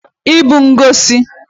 ibu ngosi